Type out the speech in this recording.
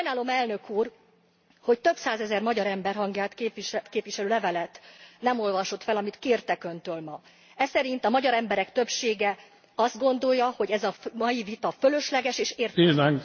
Sajnálom, elnök úr, hogy több százezer magyar ember hangját képviselő levelet nem olvasott fel, amit kértek Öntől ma. E szerint a magyar emberek többsége azt gondolja, hogy ez a mai vita fölösleges és értelmetlen